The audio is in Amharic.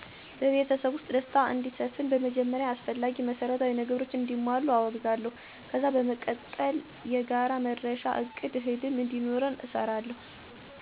በቤተሰቤ ውስጥ ደስታ እንዲሰፍን በመጀመሪያ አስፈላጊ መሰረታዊ ነገሮች እንዲሟሉ አወግዛለሁ። ከዛ በመቀጠል የጋራ መዳረሻ እቅዳ ህልም እንዲኖረን እሰራለሁ።